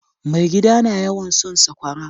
Mai gida na yawan son sakwara.